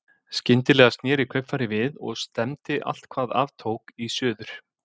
Skyndilega sneri kaupfarið við og stefndi allt hvað af tók í suður.